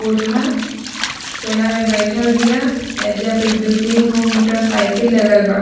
बूढ़ा स कोना में बैठल बिया एजा पर दू-तीन गो मोटरसाइकिल लगल बा।